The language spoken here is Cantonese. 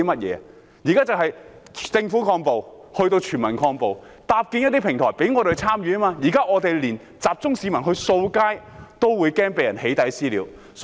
現在是由政府抗暴，提升至全民抗暴，要搭建一些平台讓我們參與，現在我們連集中市民去清理街道，亦害怕被人"起底"和"私了"。